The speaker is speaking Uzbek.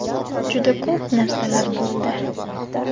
Juda ko‘p narsalar bo‘ldi.